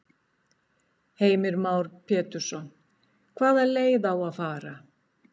Heimir Már Pétursson: Hvaða leið á að fara?